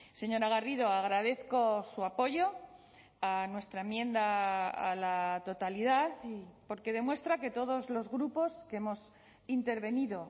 señora garrido agradezco su apoyo a nuestra enmienda a la totalidad porque demuestra que todos los grupos que hemos intervenido